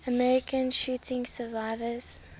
american shooting survivors